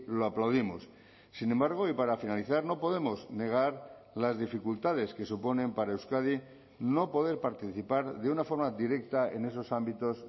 lo aplaudimos sin embargo y para finalizar no podemos negar las dificultades que suponen para euskadi no poder participar de una forma directa en esos ámbitos